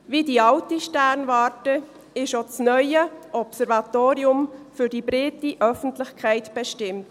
Wie die alte Sternwarte ist auch das neue Observatorium für die breite Öffentlichkeit bestimmt.